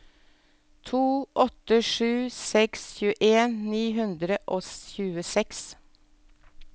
to åtte sju seks tjueni ni hundre og tjueseks